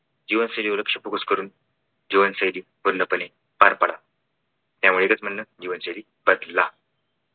जीवनशैलीवर लक्ष focus करून जीवनशैली पूर्णपणे पार पाडा. यावर एकच म्हणणं जीवनशैली बदला.